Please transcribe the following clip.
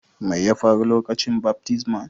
Mai ya faru lokacin baftisman?